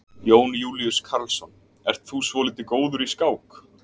Jón Júlíus Karlsson: Ert þú svolítið góður í skák?